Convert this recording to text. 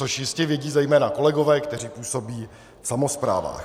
Což jistě vědí zejména kolegové, kteří působí v samosprávách.